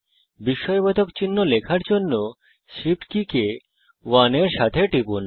বিস্ময়বোধক চিহ্ন লেখার জন্য Shift কি কে 1 এর সাথে টিপুন